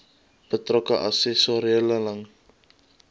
betrokke assessore ingelig